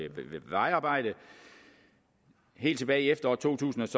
vejarbejde at helt tilbage i efteråret to tusind